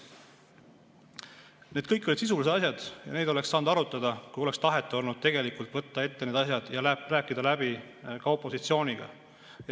Need kõik olid sisulised asjad ja neid oleks saanud arutada, kui oleks olnud tahet tegelikult võtta need asjad ette ja rääkida läbi ka opositsiooniga.